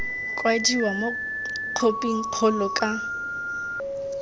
kwadiwa mo khophing kgolo ka